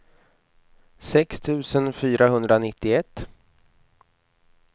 sex tusen fyrahundranittioett